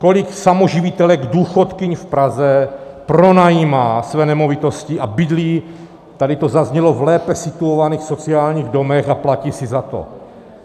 Kolik samoživitelek důchodkyň v Praze pronajímá své nemovitosti a bydlí, tady to zaznělo, v lépe situovaných sociálních domech a platí si za to?